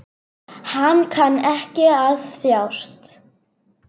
Hann kann ekki að þjást.